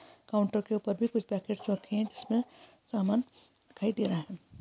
Counter क ऊपर भी कुछ पैकेट रखे है जिस में सामान दिखाई दे रहा है।